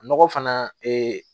Nɔgɔ fana